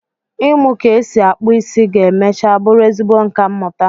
ịmu ka esi akpụ isi ga-mecha bụrụ ezigbo nka mmụta